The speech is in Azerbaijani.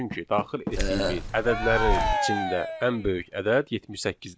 Çünki daxil etdiyimiz ədədlərin içində ən böyük ədəd 78-dir.